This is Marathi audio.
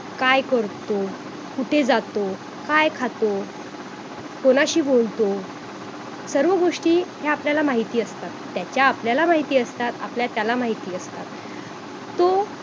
काय करतो कुठे जातो काय खातो कुणाशी बोलतो सर्व गोष्टी ह्या आपल्याला माहिती असतात त्याच्या आपल्याला माहिती असतात आपल्या त्याला माहिती असतात तो